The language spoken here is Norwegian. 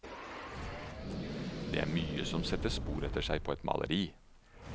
Det er mye som setter spor etter seg på et maleri.